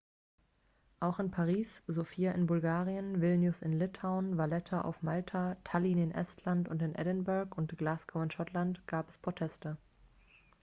auch in paris sofia in bulgarien vilnius in litauen valletta auf malta tallinn in estland und in edinburgh und glasgow in schottland gab es proteste